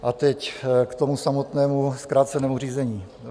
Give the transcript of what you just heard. A teď k tomu samotnému zkrácenému řízení.